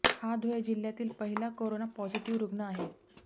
हा धुळे जिल्ह्यातील पहिला कोरोना पॉझिटिव्ह रूग्ण आहे